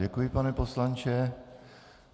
Děkuji, pane poslanče.